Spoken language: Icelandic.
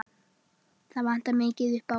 Það vantar mikið upp á.